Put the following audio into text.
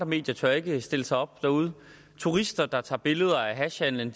medier tør ikke stille sig op derude og turister der tager billeder af hashhandelen